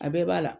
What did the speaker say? A bɛɛ b'a la